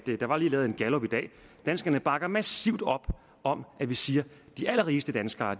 danskerne også bakker massivt op om at vi siger at de allerrigeste danskere